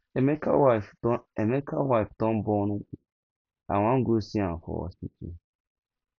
emeka wife don emeka wife don born i wan go see am for hospital